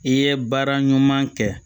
I ye baara ɲuman kɛ